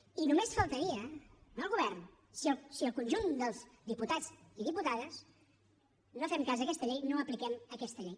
i només faltaria no el govern si el conjunt dels diputats i diputades no fem cas d’aquesta llei no apliquem aquesta llei